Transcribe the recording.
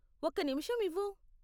ఒక్క నిమిషం ఇవ్వు .